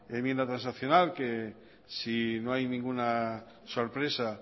enmienda transaccional que si no hay ninguna sorpresa